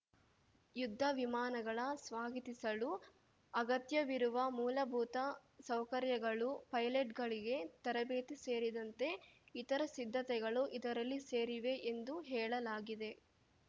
ಯುದ್ಧ ವಿಮಾನಗಳ ಸ್ವಾಗತಿಸಲು ಅಗತ್ಯವಿರುವ ಮೂಲಭೂತ ಸೌಕರ್ಯಗಳು ಪೈಲಟ್‌ಗಳಿಗೆ ತರಬೇತಿ ಸೇರಿದಂತೆ ಇತರ ಸಿದ್ಧತೆಗಳು ಇದರಲ್ಲಿ ಸೇರಿವೆ ಎಂದು ಹೇಳಲಾಗಿದೆ